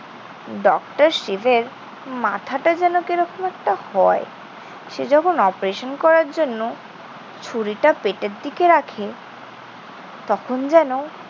Doctor শিবের মাথাটা যেন কি রকম একটা হয়। সে যখন operation করার জন্য ছুরিটা পেটের দিকে রাখে তখন যেন